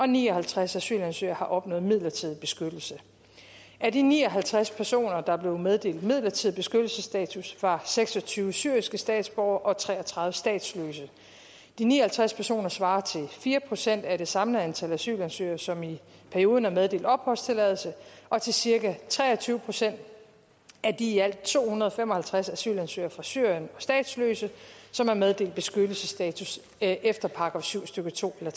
ni og halvtreds asylansøgere har opnået midlertidig beskyttelse af de ni og halvtreds personer der blev meddelt midlertidig beskyttelsesstatus var seks og tyve syriske statsborgere og tre og tredive statsløse de ni og halvtreds personer svarer til fire procent af det samlede antal asylansøgere som i perioden er meddelt opholdstilladelse og til cirka tre og tyve procent af de i alt to hundrede og fem og halvtreds asylansøgere fra syrien og statsløse som er meddelt beskyttelsesstatus efter § syv stykke to eller